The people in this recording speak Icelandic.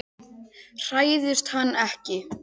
Hræðist hann ekki.